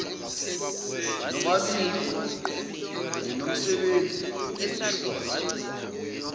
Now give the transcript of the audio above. nobabili ninomsebenzi wokuhlonza